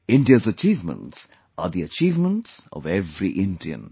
India's achievements are the achievements of every Indian